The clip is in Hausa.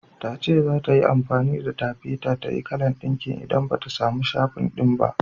Tace zata yi amfani da taffeta tayi kalan ɗinkin idan bata samu shifum ɗin ba.